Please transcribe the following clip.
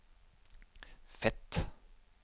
Fet